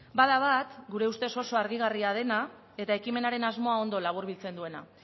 bada bat gure ustez oso harrigarria dena eta ekimenaren asmoa ondo laburbiltzen duena